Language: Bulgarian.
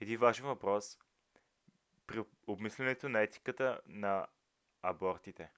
един важен въпрос при обмислянето на етиката на абортите